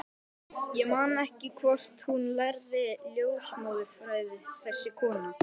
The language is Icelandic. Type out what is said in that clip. Ég man ekki hvort hún lærði ljósmóðurfræði, þessi kona.